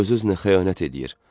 Öz-özünə xəyanət eləyir.